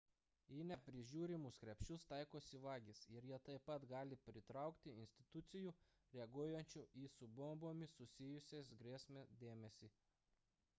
į neprižiūrimus krepšius taikosi vagys ir jie taip pat gali pritraukti institucijų reaguojančių į su bombomis susijusias grėsmes dėmesį